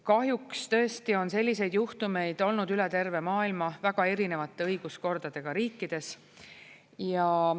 Kahjuks tõesti on selliseid juhtumeid olnud üle terve maailma väga erinevate õiguskordadega riikides.